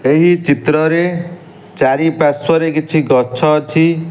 ଏହି ଚିତ୍ରରେ ଚାରି ପାର୍ଶ୍ୱରେ କିଛି ଗଛ ଅଛି --